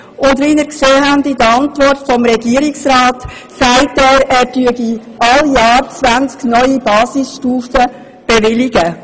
In seiner Antwort sagt der Regierungsrat, dass er jedes Jahr 20 neue Basisstufen bewillige.